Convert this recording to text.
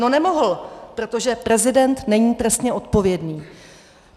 No nemohl, protože prezident není trestně odpovědný.